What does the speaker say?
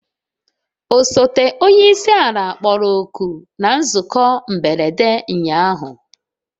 Osote onye isi ala kpọrọ oku na nzukọ mberede ụnyahụ